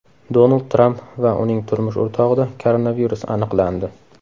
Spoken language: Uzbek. Donald Tramp va uning turmush o‘rtog‘ida koronavirus aniqlandi.